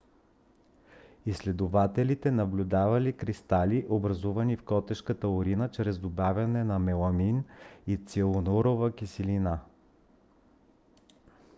изследователите наблюдавали кристали образувани в котешката урина чрез добавяне на меламин и цианурова киселина